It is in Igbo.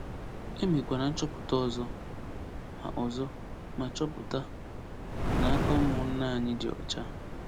E mekwara nchọpụta ọzọ, ma ọzọ, ma chọpụta na aka ụmụnna anyị dị ọcha.